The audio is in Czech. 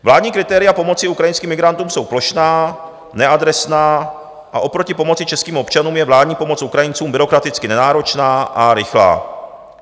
Vládní kritéria pomoci ukrajinským migrantům jsou plošná, neadresná a oproti pomoci českým občanům je vládní pomoc Ukrajincům byrokraticky nenáročná a rychlá.